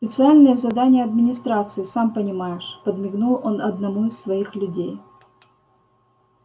специальные задания администрации сам понимаешь подмигнул он одному из своих людей